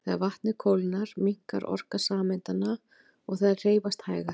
Þegar vatnið kólnar minnkar orka sameindanna og þær hreyfast hægar.